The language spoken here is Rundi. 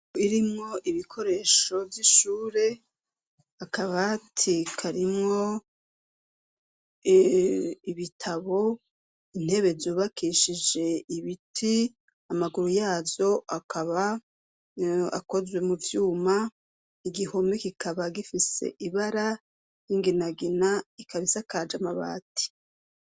Irimwo ibikoresho vy'ishure akaba tika arimwo ibitabo intebe zubakishije ibiti amaguru yazo akaba akozwe mu vyuma igihomi gikaba gifise ibara e ginagina ikabisa kaje amabati.